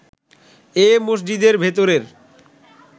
এ মসজিদের ভেতরের